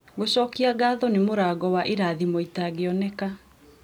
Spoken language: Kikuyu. Gũcokia ngatho nĩ mũrango wa irathimo itangĩoneka.